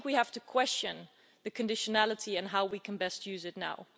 I think we have to question the issue of conditionality and how we can best use it now.